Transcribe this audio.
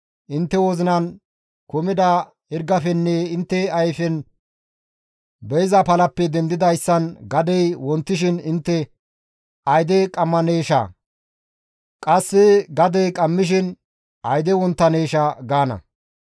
Intte wozinan kumida hirgafenne intte ayfen be7iza palappe dendidayssan gadey wontishin intte, «Ayde qammaneesha!» qasse gadey qammishin, «Ayde wonttaneesha!» gaana.